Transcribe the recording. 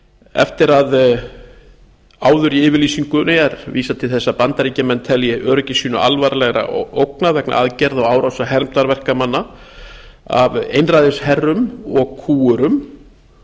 eftir að áður í yfirlýsingunni er vísað til þess að bandaríkjamenn telji öryggi sínu alvarlega ógnað vegna aðgerða og árása hermdarverkamanna af einræðisherrum og kúgurum